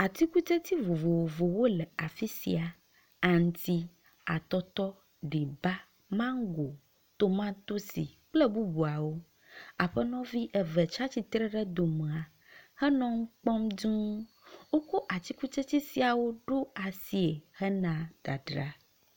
Atikutsetse vovovowo le afi sia. Aŋti, atɔtɔ, ɖiba, mago, tomatosi kple bubuawo. Aƒenɔvi ebe tsi atsitre ɖe dome henɔ nu kpɔm duu. Wokɔ atikutsetse siawo ɖo asie hena dadra.